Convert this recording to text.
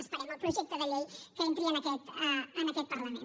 esperem el projecte de llei que entri en aquest parlament